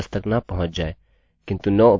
if conditionशर्त true सही हो जाएगी